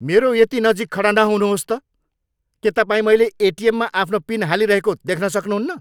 मेरो यति नजिक खडा नहुनुहोस् त! के तपाईँ मैले एटिएममा आफ्नो पिन हालिरहेको देख्न सक्नुहुन्न?